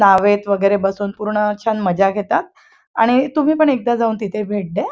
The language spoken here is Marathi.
न्हावेत वगैरे बसून पूर्ण छान मज्जा घेतात आणि तुम्ही पण तिथे जाऊन एकदा भेट द्या.